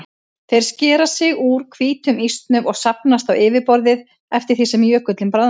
Þeir skera sig úr hvítum ísnum og safnast á yfirborðið eftir því sem jökullinn bráðnar.